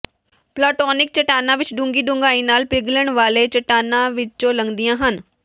plutonic ਚੱਟਾਨਾਂ ਇੱਕ ਡੂੰਘੀ ਡੂੰਘਾਈ ਨਾਲ ਪਿਘਲਣ ਵਾਲੇ ਚਟਾਨਾਂ ਵਿੱਚੋਂ ਲੰਘਦੀਆਂ ਹਨ